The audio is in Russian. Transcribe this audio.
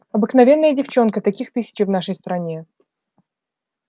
обыкновенная девчонка таких тысячи в нашей стране